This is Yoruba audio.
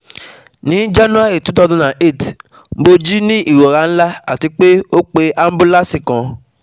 ni January two thousand and eight Mo ji ni irora nla, ati pe o pe abulance kan